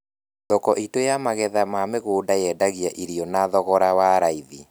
Thoko itũ ya magetha ma mũgũnda yendagia irio na thogoro wa raithi